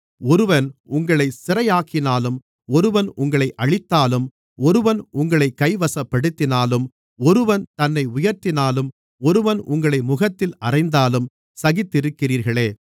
ஒருவன் உங்களைச் சிறையாக்கினாலும் ஒருவன் உங்களை அழித்தாலும் ஒருவன் உங்களைக் கைவசப்படுத்தினாலும் ஒருவன் தன்னை உயர்த்தினாலும் ஒருவன் உங்களை முகத்தில் அறைந்தாலும் சகித்திருக்கிறீர்களே